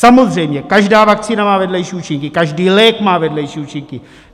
Samozřejmě každá vakcína má vedlejší účinky, každý lék má vedlejší účinky.